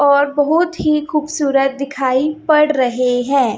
और बहोत ही खूबसूरत दिखाई पड़ रहे हैं।